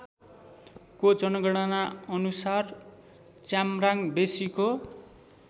को जनगणना अनुसार च्याम्राङबेसीको